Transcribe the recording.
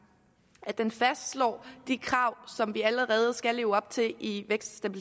at den fastslår de krav som vi allerede skal leve op til i vækst og